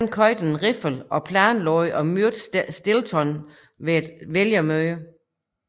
Han køber en riffel og planlægger at myrde Stillson ved et vælgermøde